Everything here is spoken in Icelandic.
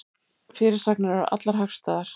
Fyrirsagnir eru allar hagstæðar